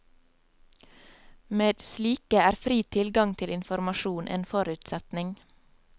Med slike er fri tilgang til informasjon en forutsetning.